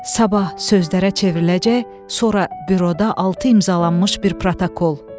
Sabah sözlərə çevriləcək, sonra büroda altı imzalanmış bir protokol.